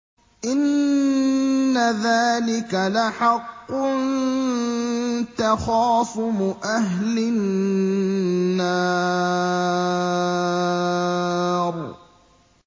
إِنَّ ذَٰلِكَ لَحَقٌّ تَخَاصُمُ أَهْلِ النَّارِ